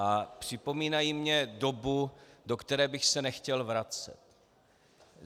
A připomínají mi dobu, do které bych se nechtěl vracet.